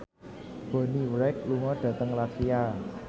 Bonnie Wright lunga dhateng latvia